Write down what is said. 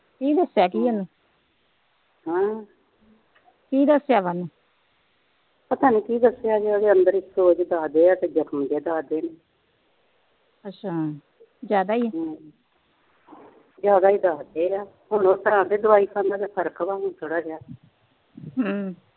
ਪਤਾ ਨੀ ਕੀ ਦੱਸਿਆ ਵੀ ਓਹਦੇ ਅੰਦਰ ਇੱਕ ਉਹ ਦੱਸਦੇ ਜਖਮ ਜਿਹਾ ਦੱਸਦੇ ਜਿਆਦਾ ਹੀ ਦੱਸਦੇ ਆ ਹੁਣ ਥੋੜਾ ਹੁਣ ਦਵਾਈ ਖਾਦਾ ਫਰਕ ਆ ਥੋੜਾ ਜਿਹਾ ਹਮ